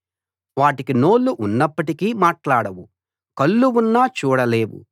వాటికి నోళ్ళు ఉన్నప్పటికీ మాట్లాడవు కళ్ళు ఉన్నా చూడలేవు